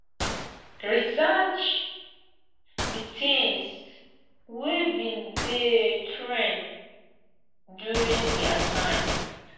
research di things wey been dey trend during their time